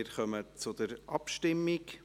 Wir kommen zur Abstimmung.